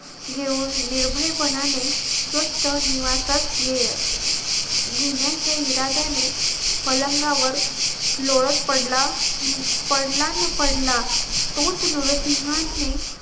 घेऊन निर्भयपणाने स्वस्त निवासात लिहिण्याच्या इराद्याने पलंगावर लोळत पडला पडला न पडला तोच नुरसिंहाने